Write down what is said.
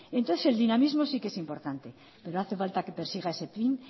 entonces el dinamismo sí que es importante pero hace falta que persiga ese fin